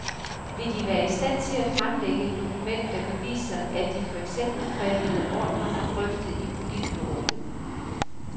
Vil de være i stand til at fremlægge et dokument der beviser, at de for eksempel krævede ordrerne drøftet i politbureauet.